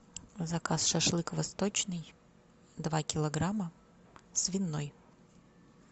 заказ шашлык восточный два килограмма свиной